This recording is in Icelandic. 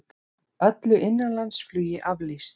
Öllu innanlandsflugi aflýst